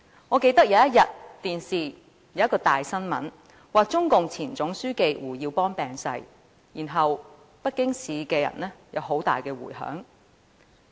我記得有一天，電視播出了一則大新聞，指中共前總書紀胡耀邦病逝，然後北京市的人民有很大迴響。